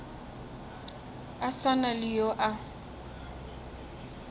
a swana le yo a